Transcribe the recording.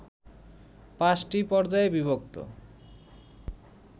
পাঁচটি পর্যায়ে বিভক্ত